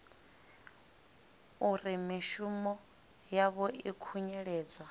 uri mishumo yavho i khunyeledzwa